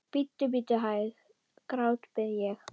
Bíddu, bíddu hæg, grátbið ég.